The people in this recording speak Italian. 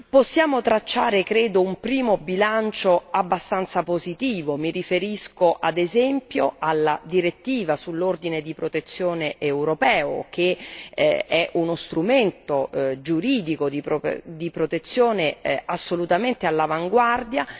Possiamo tracciare credo un primo bilancio abbastanza positivo, mi riferisco, ad esempio, alla direttiva sull'ordine di protezione europeo, che è uno strumento giuridico di protezione assolutamente all'avanguardia